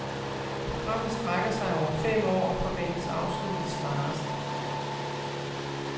Programmet strækker sig over fem år og forventes afsluttet snarest.